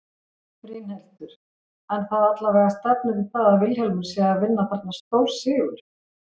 Brynhildur: En það allavega stefnir í það að Vilhjálmur sé að vinna þarna stórsigur?